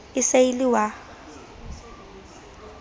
e se e le wa